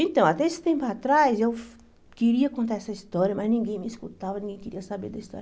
Então, até esse tempo atrás, eu queria contar essa história, mas ninguém me escutava, ninguém queria saber da história.